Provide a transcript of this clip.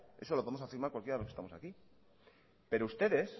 eso lo podemos afirmar cualquiera de los que estamos aquí pero ustedes